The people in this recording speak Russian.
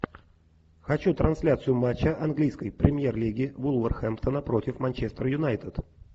хочу трансляцию матча английской премьер лиги вулверхэмптона против манчестер юнайтед